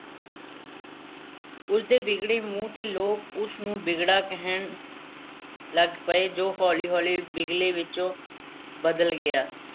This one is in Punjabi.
ਉਸ ਦੇ ਵਿਗੜੇ ਮੂੰਹ ਤੇ ਲੋਕ ਉਸ ਨੂੰ ਬਿਗੜਾ ਕਹਿਣ ਲੱਗ ਪਏ ਜੋ ਹੌਲੀ-ਹੌਲੀ ਬਿਗਲੇ ਵਿੱਚ ਬਦਲ ਗਿਆ।